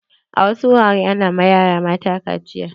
A wasu wuraren ana ma yara mata kaciya.